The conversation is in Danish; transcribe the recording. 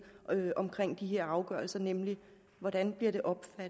i her afgørelser nemlig hvordan